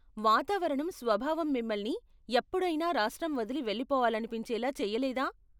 వాతావరణం స్వభావం మిమల్ని ఎప్పుడైనా రాష్ట్రం వదిలి వెళ్లిపోవాలనిపించేలా చేయలేదా?